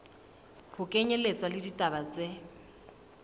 ho kenyelletswa le ditaba tse